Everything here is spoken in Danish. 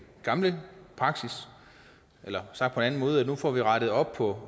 gamle praksis eller sagt på en anden måde nu får vi rettet op på